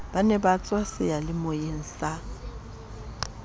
ba ne ba tswaseyalemoyeng sa